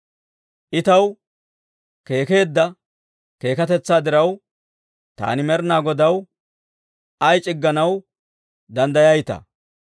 I taw keekkeedda keekkatetsaa diraw, taani Med'inaa Godaw ay c'igganaw danddayayitaa?